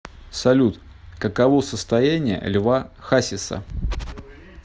салют каково состояние льва хасиса